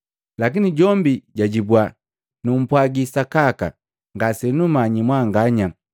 Lakini jombi jajibua, ‘Numpwagi sakaka, ngasenummanyi mwanganya.’ ”